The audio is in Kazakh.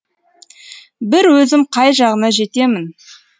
бір өзім қай жағына жетемін